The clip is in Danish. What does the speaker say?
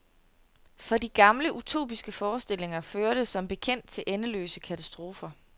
For de gamle utopiske forestillinger førte som bekendt til endeløse katastrofer.